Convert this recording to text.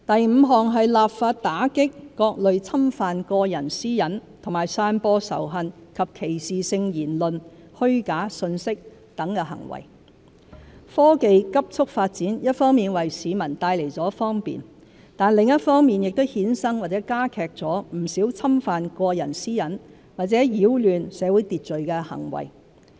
五立法打擊各類侵犯個人私隱和散播仇恨及歧視性言論、虛假信息等行為科技急速發展一方面為市民帶來方便，另一方面亦衍生或加劇了不少侵犯個人私隱或擾亂社會秩序的行為。